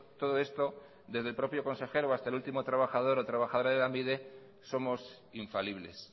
todo esto desde el propio consejero hasta el último trabajador o trabajadora de lanbide somos infalibles